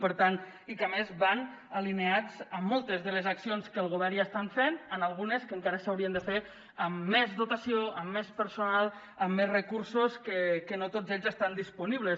per tant i que a més van alineats amb moltes de les accions que al govern ja estan fent algunes encara s’haurien de fer amb més dotació amb més personal amb més recursos que no tots ells estan disponibles